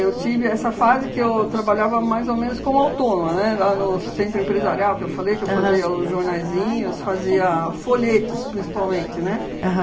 tive essa fase que eu trabalhava mais ou menos como autônoma, né, lá no centro empresarial, que eu falei que eu fazia os jornaizinhos, fazia folhetos principalmente, né? Aham